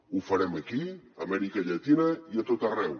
ho farem aquí a amèrica llatina i a tot arreu